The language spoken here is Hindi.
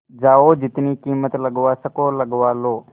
जाओ जितनी कीमत लगवा सको लगवा लो